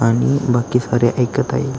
आणि बाकी सारे ऐकत आहे.